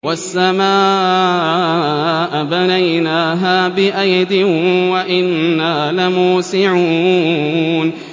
وَالسَّمَاءَ بَنَيْنَاهَا بِأَيْدٍ وَإِنَّا لَمُوسِعُونَ